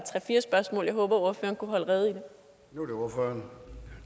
fire spørgsmål og jeg håber at ordføreren kunne holde rede rede